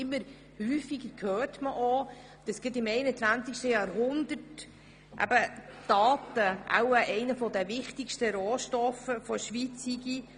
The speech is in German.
Immer häufiger hört man, dass gerade im 21. Jahrhundert Daten einer der wichtigsten «Rohstoffe» der Schweiz seien.